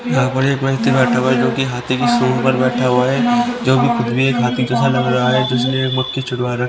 जोकि हाथी के सूट पर बैठा हुआ है जो भी खुद एक हाथी जैसा लग रहा है इसलिए मक्खी छुड़वा रहा--